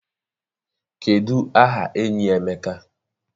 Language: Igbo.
Kedụ aha enyi Emeka?